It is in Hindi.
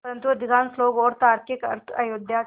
परन्तु अधिकांश लोग और तार्किक अर्थ अयोध्या के